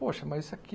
Poxa, mas isso aqui...